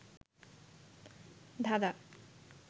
ধাঁধাঁ